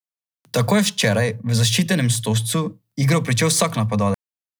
Tako je včeraj v zaščitenem stožcu igro pričel vsak napadalec.